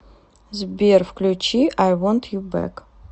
сбер включи ай вонт ю бэк